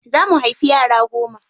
Za mu haifi yara goma.